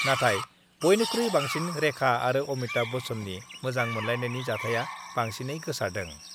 नाथाय बयनिख्रुइ बांसिन रेखा आरो अमिताभ बच्चननि मोजां मोनलायनायनि जाथाया बांसिनै गोसारदों।